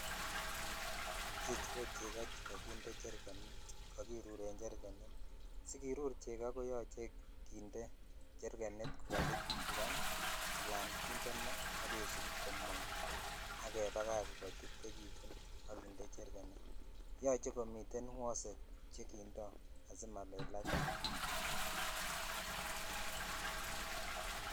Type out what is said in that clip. Ichechu ko chekoo chekokinde cherkenit chekokiruren cherkenit, sikirur chekoo ko yoche kinde cherkenit koka kichukchukan alan kinde maa ak kesut komong ak kebakach koititekitun ak kinde cherkenit, yoche komiten wosek chekindo asimalelakitun.